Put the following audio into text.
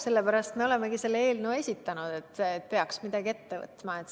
Sellepärast me olemegi selle eelnõu esitanud, et peaks midagi ette võtma.